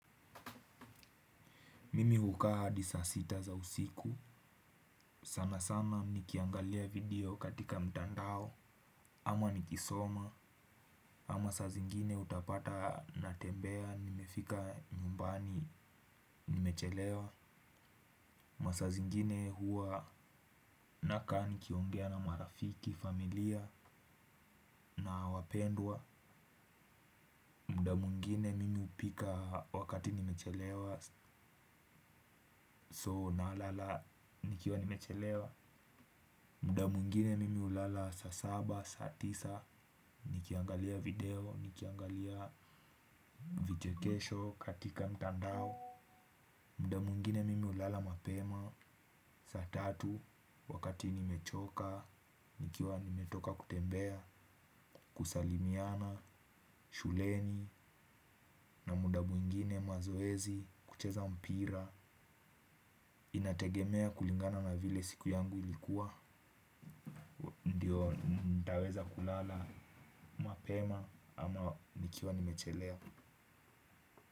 Mimi hukaa hadi saa sita za usiku, sana sana nikiangalia video katika mtandao, ama nikisoma, ama saa zingine utapata natembea nimefika nyumbani nimechelewa. Masaa zingine huwa nakaa nikiongea na marafiki, familia na wapendwa, muda mwingine mimi hupika wakati nimechelewa so nalala nikiwa nimechelewa. Muda mwingine mimi hulala saa saba, saa tisa, nikiangalia video, nikiangalia vichekesho katika mtandao. Muda mwingine mimi hulala mapema, saa tatu, wakati nimechoka, nikiwa nimetoka kutembea, kusalimiana, shuleni, na muda mwingine mazoezi, kucheza mpira. Inategemea kulingana na vile siku yangu ilikuwa. Ndio ntaweza kulala mapema ama nikiwa nimechelea.